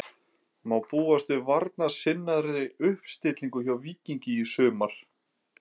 Má búast við varnarsinnaðri uppstillingu hjá Víkingi í sumar?